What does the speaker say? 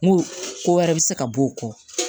N ko ko wɛrɛ be se ka bɔ o kɔ